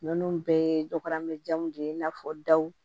Ninnu bɛɛ ye dɔgɔyajamu de ye i n'a fɔ daw